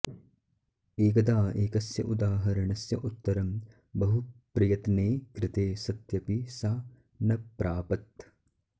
एकदा एकस्य उदाहरणस्य उत्तरं बहु प्रयत्ने कृते सत्यपि सा न प्रापत्